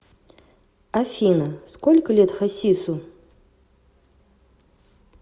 афина сколько лет хасису